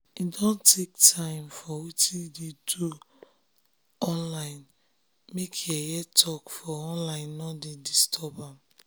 im don take time for wetin im dey do make yeye talk for um online nor dey um disturb am